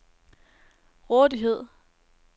rådighed